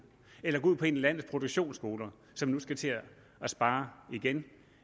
eller ud på en af landets produktionsskoler som nu skal til at spare igen